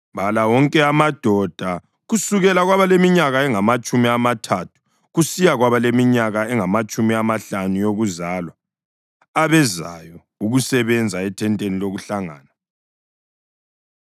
Bala wonke amadoda kusukela kwabaleminyaka engamatshumi amathathu kusiya kwabaleminyaka engamatshumi amahlanu yokuzalwa abezayo ukusebenza ethenteni lokuhlangana.